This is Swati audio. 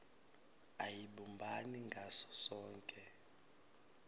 ayibumbani ngaso sonkhe